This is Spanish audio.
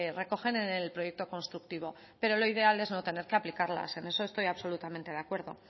recogen en el proyecto constructivo pero lo ideal es no tener que aplicarla en eso estoy absolutamente de acuerdo